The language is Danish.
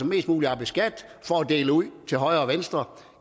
mest muligt i skat for at dele ud til højre og venstre